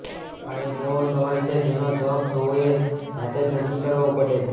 આ એક એવો સવાલ છે જેનો જવાબ સૌએ જાતે જ નક્કી કરવો પડે